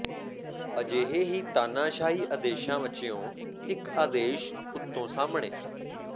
ਅਜਿਹੇ ਹੀ ਤਾਨਾਸ਼ਾਹੀ ਆਦੇਸ਼ਾਂ ਵਚਿੋਂ ਇਕ ਆਦੇਸ਼ ਉਤੋਂ ਸਾਹਮਣੇ